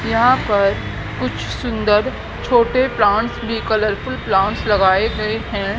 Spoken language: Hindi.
यहां पर कुछ सुंदर छोटे प्लांटस भी कलरफुल प्लांटस लगाए गए हैं।